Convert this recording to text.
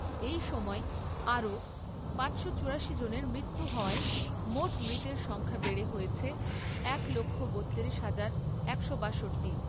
এই সময়ে আরও পাঁচশো চুরাশি জনের মৃত্যু হওয়ায়, মোট মৃতের সংখ্যা বেড়ে হয়েছে এক লক্ষ বত্তিরিশ হাজার একশো বাষট্টি।